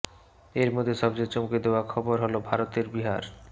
এর মধ্যে সবচেয়ে চমকে দেওয়া খবর হলো ভারতের বিহার